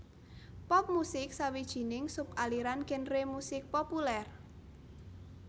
Pop musik sawijining sub aliran genre musik populèr